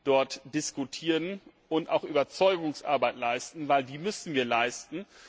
dort diskutieren und auch Überzeugungsarbeit leisten denn die müssen wir leisten!